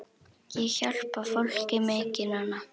Ég hjálpa fólki mikið núna.